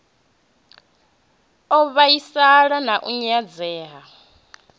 u vhaisala na u nyadzea